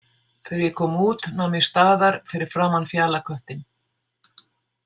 Þegar ég kom út nam ég staðar fyrir framan Fjalaköttinn.